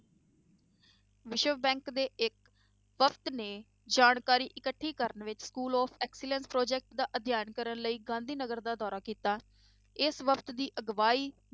ਵਿਸ਼ਵ bank ਦੇ ਇੱਕ ਵਕਤ ਨੇ ਜਾਣਕਾਰੀ ਇਕੱਠੀ ਕਰਨ ਵਿੱਚ school of excellence project ਦਾ ਅਧਿਐਨ ਕਰਨ ਲਈ ਗਾਂਧੀ ਨਗਰ ਦਾ ਦੌਰਾ ਕੀਤਾ, ਇਸ ਵਕਤ ਦੀ ਅਗਵਾਈ